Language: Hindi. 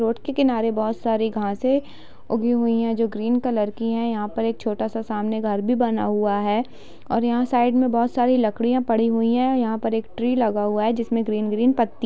रोड के किनारे बहुत सारी घासें उगी हुई हैं जो ग्रीन कलर की हैं | यहाँ पर एक छोटा सा सामने घर भी बना हुआ है और यहाँ साइड में बहुत सारी लकड़ियां पड़ी हुई हैं | यहाँ पर एक ट्री लगा हुआ है जिसमे ग्रीन ग्रीन पत्ती --